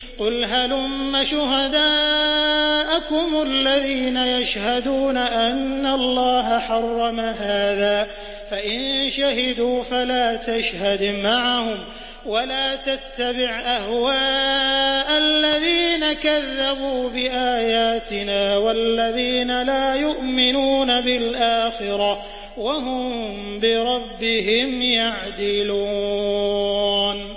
قُلْ هَلُمَّ شُهَدَاءَكُمُ الَّذِينَ يَشْهَدُونَ أَنَّ اللَّهَ حَرَّمَ هَٰذَا ۖ فَإِن شَهِدُوا فَلَا تَشْهَدْ مَعَهُمْ ۚ وَلَا تَتَّبِعْ أَهْوَاءَ الَّذِينَ كَذَّبُوا بِآيَاتِنَا وَالَّذِينَ لَا يُؤْمِنُونَ بِالْآخِرَةِ وَهُم بِرَبِّهِمْ يَعْدِلُونَ